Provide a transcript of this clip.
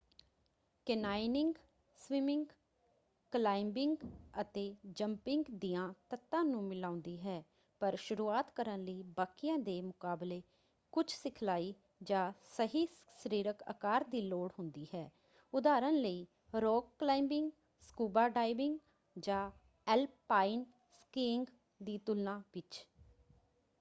Canyoning swimming climbing ਅਤੇ jumping ਦਿਆਂ ਤੱਤਾਂ ਨੂੰ ਮਿਲਾਉਂਦੀ ਹੈ - ਪਰ ਸ਼ੁਰੂਆਤ ਕਰਨ ਲਈ ਬਾਕੀਆਂ ਦੇ ਮੁਕਾਬਲੇ ਕੁਝ ਸਿਖਲਾਈ ਜਾਂ ਸਹੀ ਸਰੀਰਕ ਆਕਾਰ ਦੀ ਲੋੜ ਹੁੰਦੀ ਹੈ ਉਦਾਹਰਨ ਲਈ ਰਾਕ ਕਲਾਇੰਬਿੰਗ ਸਕੂਬਾ ਡਾਈਵਿੰਗ ਜਾਂ ਐਲਪਾਈਨ ਸਕੀਇੰਗ ਦੀ ਤੁਲਣਾ ਵਿੱਚ।